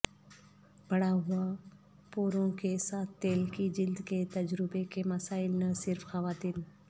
بڑھا ہوا پوروں کے ساتھ تیل کی جلد کے تجربے کے مسائل نہ صرف خواتین